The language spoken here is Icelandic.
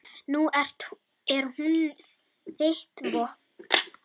Nú er hún þitt vopn.